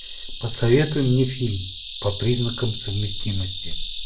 посоветуй мне фильм по признакам совместимости